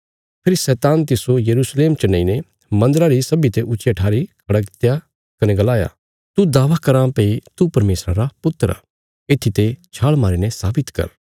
फेरी शैतान तिस्सो यरूशलेम च नेईने मन्दरा री सब्बीं ते ऊच्चिया ठारी खड़ा कित्या कने गलाया तू दावा कराँ भई तू परमेशरा रा पुत्र आ येत्थीते छाल़ मारीने साबित कर